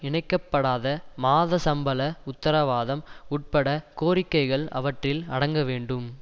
இணைக்கப்படாத மாத சம்பள உத்தரவாதம் உட்பட கோரிக்கைகள் அவற்றில் அடங்க வேண்டும்